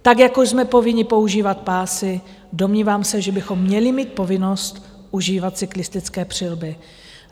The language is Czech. Tak jako jsme povinni používat pásy, domnívám se, že bychom měli mít povinnost užívat cyklistické přilby.